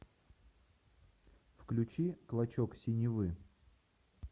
включи клочок синевы